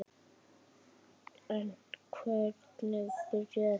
En hvernig byrjaði þetta?